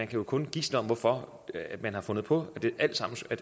kan kun gisne om hvorfor man har fundet på